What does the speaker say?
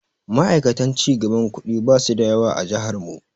Ma'aikatan cigaban kuɗi basu da yawa a jihar mu.